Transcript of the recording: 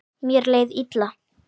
Mér leið illa.